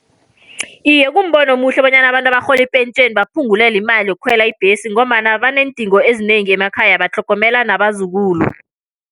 Iye, kumbono omuhle bonyana abantu abarhola ipentjheni baphungulelwe imali yokukhwela ibhesi, ngombana baneendingo ezinengi emakhaya, batlhogomela nabazukulu.